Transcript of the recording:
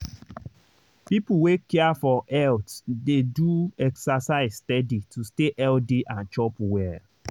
people wey care for health dey do exercise steady to stay healthy and chop well.